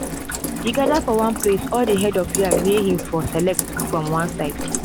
he gather for one place all the head of yam may him for select from on side